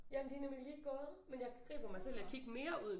Jamen de er nemlig lige gået men jeg griber mig selv i at kigge mere ud